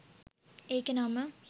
ඒකෙ නම